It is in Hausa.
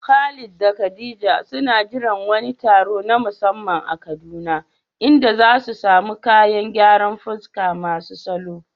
Khalid da khadija suna jiran wani taro na musamman a Kaduna inda zasu samu kayan gyaran fuska masu salo